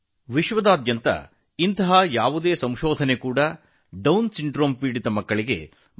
ಅಂತಹ ಯಾವುದೇ ಸಂಶೋಧನೆಯು ಪ್ರಪಂಚದಾದ್ಯಂತ ಡೌನ್ ಸಿಂಡ್ರೋಮ್ನಿಂದ ಪೀಡಿತ ಮಕ್ಕಳಿಗೆ ಉತ್ತಮ ಪ್ರಯೋಜನ ನೀಡಬಹುದು